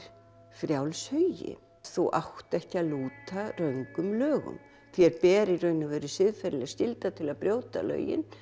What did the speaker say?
frjáls hugi þú átt ekki að lúta röngum lögum þér ber í raun og veru siðferðileg skylda til að brjóta lögin